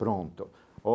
Pronto.